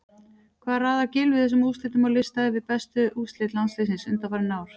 Hvar raðar Gylfi þessum úrslitum á lista yfir bestu úrslit landsliðsins undanfarin ár?